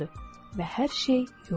Və hər şey yox olur.